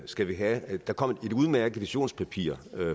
skal vi have der kom et udmærket visionspapir